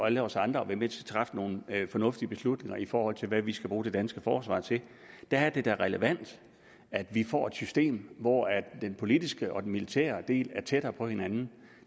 alle os andre og være med til at træffe nogle fornuftige beslutninger i forhold til hvad vi skal bruge det danske forsvar til der er det da relevant at vi får et system hvor den politiske og den militære del er tættere på hinanden